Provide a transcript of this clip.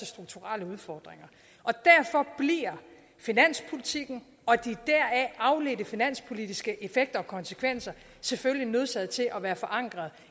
strukturelle udfordringer derfor bliver finanspolitikken og de deraf afledte finanspolitiske effekter og konsekvenser selvfølgelig nødsaget til at være forankret